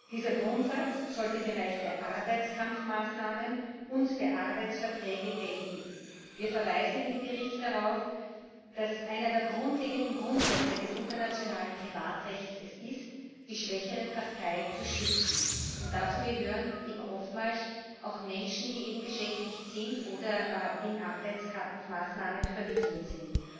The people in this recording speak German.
Dieser Grundsatz sollte im Bereich der Arbeitskampfmaßnahmen und der Arbeitsverträge gelten. Wir verweisen in dem Bericht darauf, dass es einer der grundlegenden Grundsätze des internationalen Privatrechts ist, die schwächere Partei zu schützen, und dazu gehören eben oftmals auch Menschen, die beschäftigt sind oder in Arbeitskampfmaßnahmen verwickelt sind.